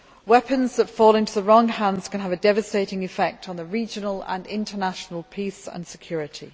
Weapons that fall into the wrong hands can have a devastating effect on the regional and international peace and security.